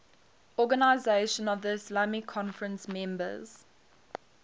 organisation of the islamic conference members